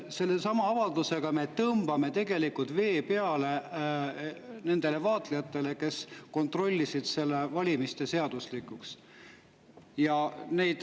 Selle avaldusega me tõmbame tegelikult vee peale nendele vaatlejatele, kes kontrollisid nende valimiste seaduslikkust.